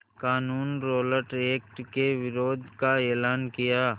क़ानून Rowlatt Act के विरोध का एलान किया